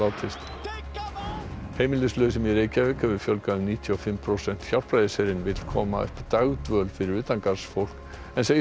heimilislausum í Reykjavík hefur fjölgað um níutíu og fimm prósent Hjálpræðisherinn vill koma upp dagdvöl fyrir utangarðsfólk en segist ekki finna stuðning frá